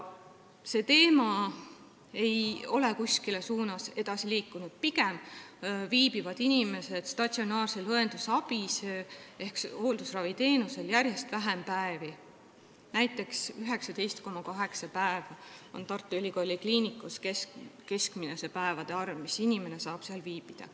See teema ei ole mingis suunas edasi liikunud, pigem saavad inimesed statsionaarset õendusabi ehk hooldusraviteenust järjest vähem päevi, näiteks 19,8 päeva on Tartu Ülikooli Kliinikumis keskmine päevade arv, kui kaua inimene saab seal viibida.